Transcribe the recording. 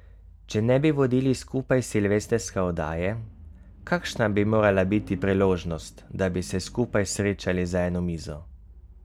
Če ne bi vodili skupaj silvestrske oddaje, kakšna bi morala biti priložnost, da bi se skupaj srečali za eno mizo?